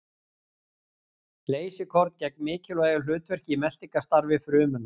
Leysikorn gegna mikilvægu hlutverki í meltingarstarfi frumunnar.